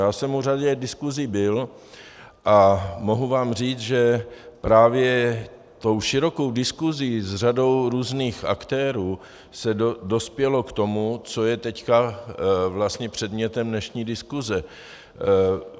Já jsem u řady diskusí byl a mohu vám říct, že právě tou širokou diskusí s řadou různých aktérů se dospělo k tomu, co je teď vlastně předmětem dnešní diskuse.